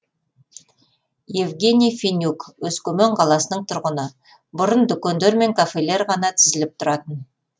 евгений фенюк өскемен қаласының тұрғыны бұрын дүкендер мен кафелер ғана тізіліп тұратын